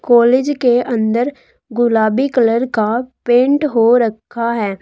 College के अंदर गुलाबी कलर का पेंट हो रखा है।